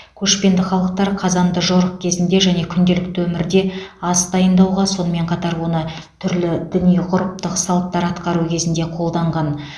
көшпенді халықтар қазанды жорық кезінде және күнделікті өмірде ас дайындауға сонымен қатар оны түрлі діни ғұрыптық салттар атқару кезінде қолданған